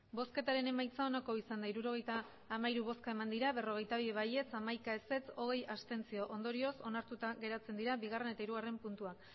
emandako botoak hirurogeita hamairu bai berrogeita bi ez hamaika abstentzioak hogei ondorioz onartuta geratzen dira bigarrena eta hirugarrena puntuak